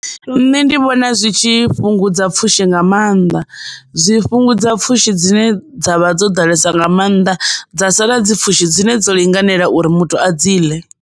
Nṋe ndi vhona zwi tshi fhungudza pfhushi nga mannḓa zwi fhungudza pfhushi dzine dzavha dzo ḓalesaho nga mannḓa dza sala dzipfushi dzine dzo linganelaho uri muthu a dzi ḽe.